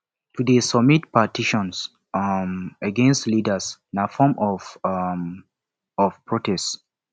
to de submit petitions um against leaders na form um of protest